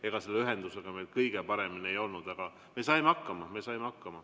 Ega selle ühendusega meil kõige paremini ei olnud, aga me saime hakkama.